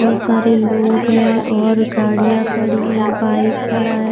बहुत सारे लोग हैं और गाड़ियां खड़ी हैं बाइक खड़ा है।